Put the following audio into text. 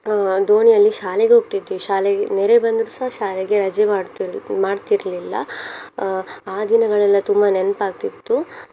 ಅಹ್ ದೋಣಿಯಲ್ಲಿ ಶಾಲೆಗೆ ಹೋಗ್ತಿದ್ವಿ ಶಾಲೆಗೆ ನೆರೆ ಬಂದ್ರುಸ ಶಾಲೆಗೆ ರಜೆ ಮಾಡ್ತಿತಿರ್~ ಮಾಡ್ತಿರ್ಲಿಲ್ಲ ಅಹ್ ಆ ದಿನಗಳೆಲ್ಲ ತುಂಬಾ ನೆನ್ಪಾಗ್ತಿತ್ತು.